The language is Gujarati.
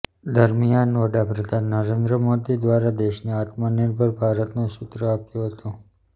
દરમિયાન વડા પ્રધાન નરેન્દ્ર મોદી દ્વારા દેશને આત્મનિર્ભર ભારતનું સૂત્ર આપ્યું હતું